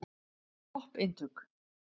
Topp eintök.